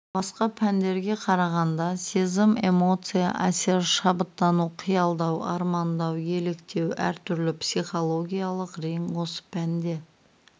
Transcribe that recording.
басқа пәндерге қарағанда сезім эмоция әсер шабыттану қиялдау армандау еліктеу әр түрлі психологиялық рең осы пәнде